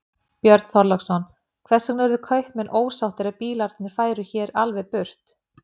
Björn Þorláksson: Hvers vegna yrðu kaupmenn ósáttir ef bílarnir færu hér alveg burt?